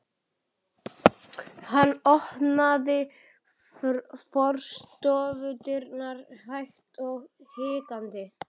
Hann opnaði forstofudyrnar hægt og hikandi.